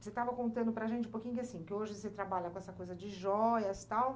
Você estava contando para a gente um pouquinho que, assim, que hoje você trabalha com essa coisa de jóias, tal.